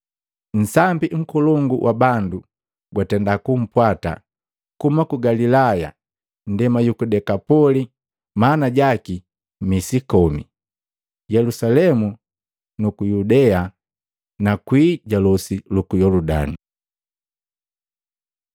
Nsambi nkolongu wa bandu gwatenda kumpwata kuhuma ku Galilaya, nndema yuku Dekapoli maana jaki Misi Komi, Yelusalemu na Yudea na kwii ja losi luku Yoludani.